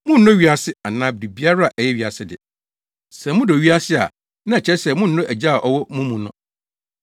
Monnnɔ wiase anaasɛ biribiara a ɛyɛ wiase de. Sɛ modɔ wiase a, na ɛkyerɛ sɛ monnnɔ Agya a ɔwɔ mo mu no.